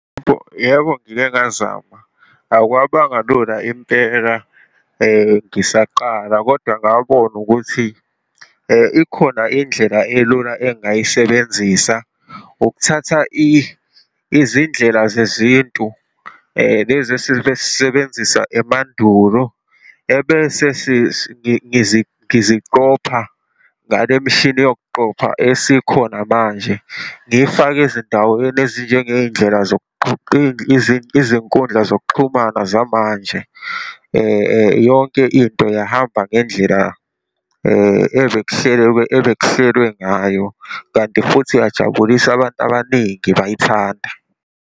Yebo, ngike ngazama, akwabangalula impela ngisaqala, kodwa ngabona ukuthi ikhona indlela elula engingayisebenzisa. Ukuthatha izindlela zezintu lezi esibesisebenzisa emandulo ebese ngiziqopha ngalemishini yokuqopha esikhona manje, ngiyifake ezindaweni ezinjengey'ndlela izinkundla zokuxhumana zamanje. Yonke into yahamba ngendlela ebekuhlelekwe, ebekuhlelwe ngayo kanti futhi yajabulisa abantu abaningi, bayithanda.